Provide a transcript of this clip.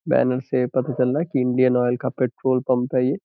Banner से पता चल रहा है की इंडियन आयल का पट्रोल पंप है ये।